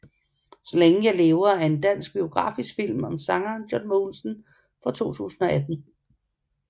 Så længe jeg lever er en dansk biografisk film om sangeren John Mogensen fra 2018